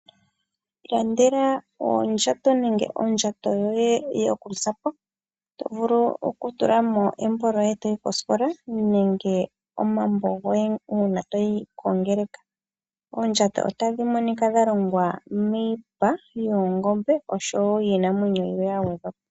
Iilandela oondjato nenge ondjato yokuzapo tovulu okutula mo embo lyoye toyi kosikola nenge omambo goye toyi kongeleka. Oondjato ohadhi monika dhalongwa miipa yoongombe oshowo dhiinamwenyo yimwe yagwedhwa po.